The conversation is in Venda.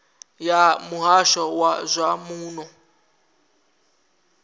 ya muhasho wa zwa muno